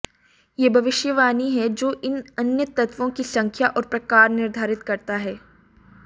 यह भविष्यवाणी है जो इन अन्य तत्वों की संख्या और प्रकार निर्धारित करता है